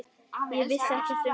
Ég vissi ekkert um það.